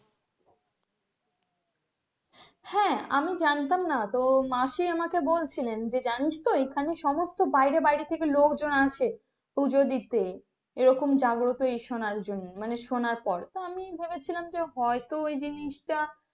হ্যাঁ আমি জানতাম না তো মাসি আমাকে বলছিলেন যে জানিস তো এখানে সমস্ত বাইরে বাইরে থেকে লোকজন আসে পুজো দিতে এরকম জাগ্রত জন্য শোনার পর আমি ভেবেছিলাম হয়তো ওই জিনিসটা।